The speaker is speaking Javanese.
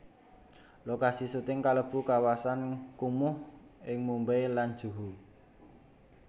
Lokasi syuting kalebu kawasan kumuh ing Mumbai lan Juhu